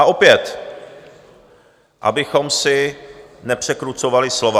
A opět, abychom si nepřekrucovali slova.